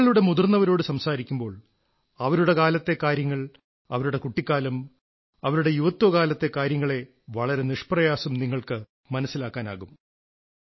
നിങ്ങളുടെ മുതിർന്നവരോട് സംസാരിക്കുമ്പോൾ അവരുടെ കാലത്തെ കാര്യങ്ങൾ അവരുടെ കുട്ടിക്കാലം അവരുടെ യുവത്വകാലത്തെ കാര്യങ്ങളെ വളരെ നിഷ്പ്രയാസം നിങ്ങൾക്കു മനസ്സിലാക്കാനാകും